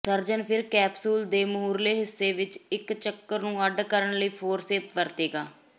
surgeon ਫਿਰ capsule ਦੇ ਮੂਹਰਲੇ ਹਿੱਸੇ ਵਿਚ ਇਕ ਚੱਕਰ ਨੂੰ ਅੱਡ ਕਰਨ ਲਈ ਫੋਰਸੇਪ ਵਰਤੇਗਾ